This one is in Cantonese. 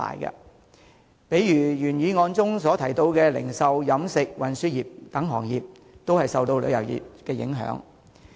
舉例說，原議案提到的零售、飲食和運輸等行業也會受旅遊業影響。